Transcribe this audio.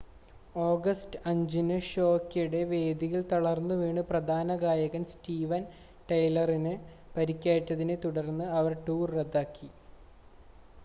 August 5-ന് ഷോയ്ക്കിടെ വേദിയിൽ തളർന്നുവീണ് പ്രധാന ഗായകൻ സ്റ്റീവൻ ടൈലറിന് പരിക്കേറ്റതിനെ തുടർന്ന് അവർ ടൂർ റദ്ദാക്കി